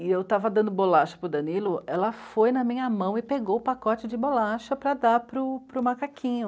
E eu estava dando bolacha para o Danilo, ela foi na minha mão e pegou o pacote de bolacha para dar para o, para o macaquinho.